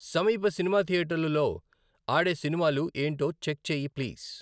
సమీప సినిమా థియేటర్లలో ఆడే సినిమాలు ఏంటో చెక్ చెయ్యి ప్లీజ్.